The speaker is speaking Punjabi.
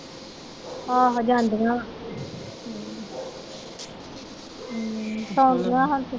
ਆਹੋ ਜਾਂਦੀਆਂ। ਹਮ ਸੋਗੀਆ ਹੁਣ ਤੇ।